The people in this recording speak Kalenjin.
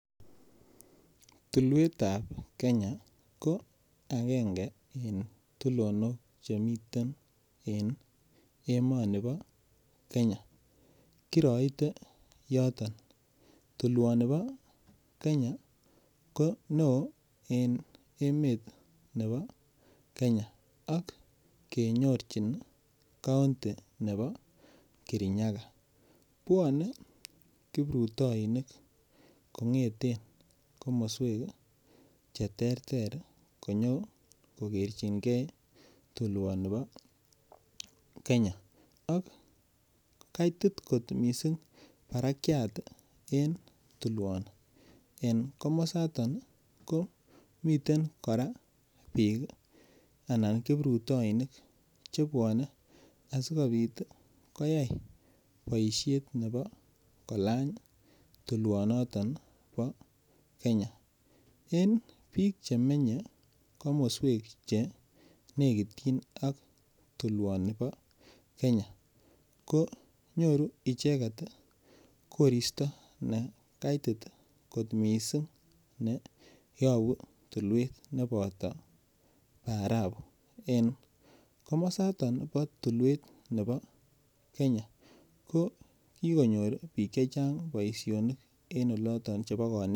Tulwetab kenya ko agenge eng' tulondok chemiten eng' emoni bo Kenya kiraiten yoton tulwoni bo Kenya koneoo eng' emet nebo Kenya ak kenyorjin county nebo Kirinyaga bwonei kiprutoinik kong'eten komoswek cheterter konyokokerjingei tulwonibo Kenya ak kaitit kot mising' barakyat en tulwoni eng' komosatan ko miten kora biik anan kiprutoinik chebwanei asikobit koyai boishet nebo kolany tulwonoton bo Kenya eng' biik chemenyei komoswek che lekityin ak tulwonoto bo Kenya konyoru icheget koristo nekaitit kot mising' yobu tulwet nenoto barafu eng' komosatak bo tulwet nebo Kenya ko kikonyor biik chechang' boishonik eng' oloton